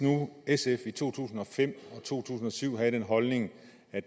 sf i to tusind og fem og to tusind og syv havde den holdning at